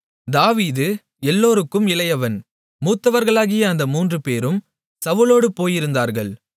தாவீது எல்லோருக்கும் இளையவன் மூத்தவர்களாகிய அந்த மூன்றுபேரும் சவுலோடுப் போயிருந்தார்கள்